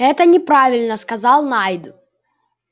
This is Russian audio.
это неправильно сказал найд